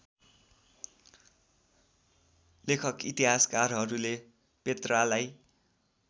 लेखक इतिहासकारहरूले पेत्रालाई